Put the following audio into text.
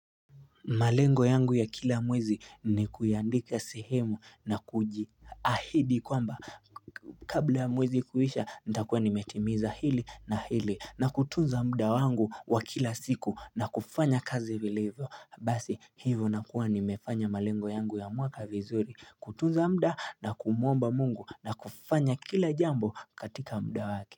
Malengo yangu ya kila mwezi ni kuyaandika sehemu na kujiahidi kwamba kabla ya mwezi kuisha nitakuwa nimetimiza hili na hili na kutunza mda wangu wa kila siku na kufanya kazi viliivyo Basi hivyo nakuwa nimefanya malengo yangu ya mwaka vizuri kutunza mda na kumuomba Mungu na kufanya kila jambo katika mda wake.